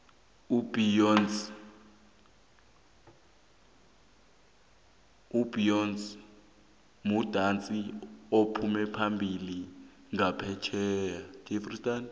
ubeyonce mudatsi ophumaphambili nqaphetjheya